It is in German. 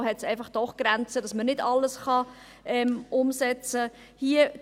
Irgendwo hat es doch Grenzen, sodass man nicht einfach alles umsetzen kann.